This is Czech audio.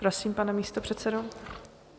Prosím, pane místopředsedo.